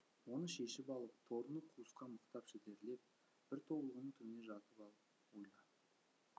оны шешіп алып торыны қуысқа мықтап шідерлеп бір тобылғының түбіне жатып ал ойла